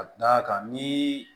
Ka d'a kan ni